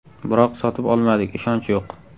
Biroq sotib olmadik, ishonch yo‘q.